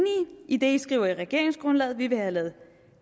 i det i skriver i regeringsgrundlaget vi vil have lavet